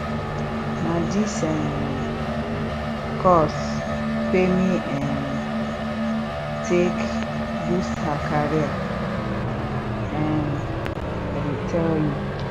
na dis um course femi um take boost her career um i dey tell you